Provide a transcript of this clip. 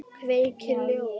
Kveikir ljós.